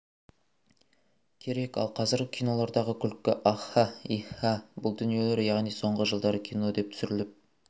керек ал қазіргі кинолардағы күлкі аха-ха иха-ха бұл дүниелер яғни соңғы жылдары кино деп түсіріліп